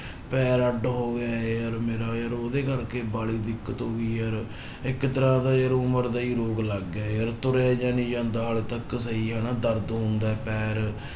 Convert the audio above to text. ਪੈਰ ਅੱਢ ਹੋ ਗਏ ਯਾਰ ਮੇਰਾ ਯਾਰ ਉਹਦੇ ਕਰਕੇ ਵਾਲੀ ਦਿੱਕਤ ਹੋ ਗਈ ਯਾਰ ਇੱਕ ਤਰ੍ਹਾਂ ਦਾ ਯਾਰ ਉਮਰ ਦਾ ਹੀ ਰੋਗ ਲੱਗ ਗਿਆ ਯਾਰ ਤੁਰਿਆ ਜਿਹਾ ਨੀ ਜਾਂਦਾ ਹਾਲੇ ਤੱਕ ਸਹੀ ਹਨਾ, ਦਰਦ ਹੁੰਦਾ ਹੈ ਪੈਰ।